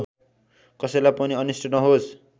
कसैलाई पनि अनिष्ट नहोस्